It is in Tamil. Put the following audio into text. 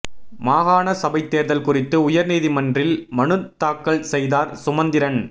மாகாண சபைத் தேர்தல் குறித்து உயர் நீதிமன்றில் மனுத் தாக்கல் செய்தார் சுமந்திரன்